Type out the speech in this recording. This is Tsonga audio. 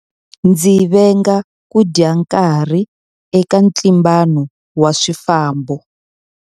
Ndzi venga ku dya nkarhi eka ntlimbano wa swifambo.